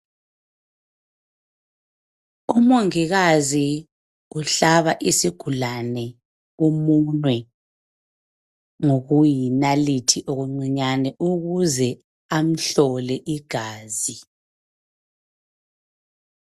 Umongikazi uhlaba isigulane umunwe ngokuyi nalithi okuncinyane ukuze amhlole igazi.